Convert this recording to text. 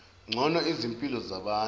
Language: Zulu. ngcono izimpilo zabantu